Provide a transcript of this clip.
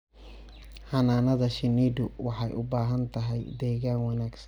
Xannaanada shinnidu waxay u baahan tahay deegaan wanaagsan.